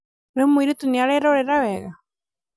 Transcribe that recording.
rĩu mũirĩtu nĩererorera wega?